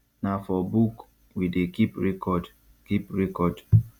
na for book we dey keep record keep record